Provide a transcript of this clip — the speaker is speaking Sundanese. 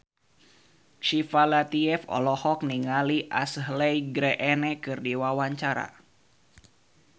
Syifa Latief olohok ningali Ashley Greene keur diwawancara